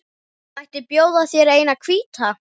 Mætti bjóða þér eina hvíta.